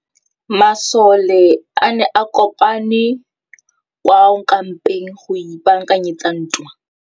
Masole a ne a kopane kwa kampeng go ipaakanyetsa ntwa.